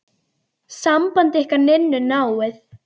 Samband ykkar Ninnu náið.